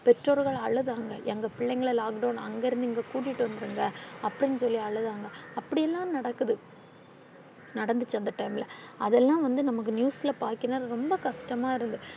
பெற்றோர்கள் அழுதாங்க எங்க பிள்ளைங்கள lockdown அங்கிருந்து இங்க கூட்டிட்டு வந்துருங்க அப்பிடினு சொல்லி அழுதாங்க. அப்பிடியெல்லாம் நடக்குது நடந்துச்சு அந்த time ல அது எல்லாம் வந்து நமக்கு news ல பார்கையில ரொம்ப கஷ்டமா இருந்துச்சு